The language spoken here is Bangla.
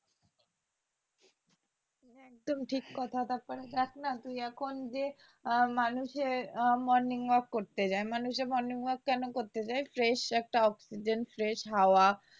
একদম ঠিক কথা দেখ না তুই এখন যে মানুষের morning walk করতে যায় মানুষ morning walk কেন করতে যায় fresh একটা অক্সিজেন fresh হাওয়া